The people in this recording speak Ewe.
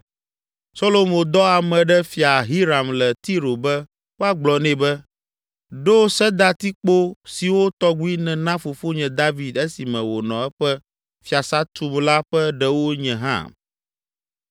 Solomo dɔ ame ɖe Fia Hiram le Tiro be woagblɔ nɛ be, “Ɖo sedatikpo siwo tɔgbi nena fofonye David esime wònɔ eƒe fiasã tum la ƒe ɖewo nye hã.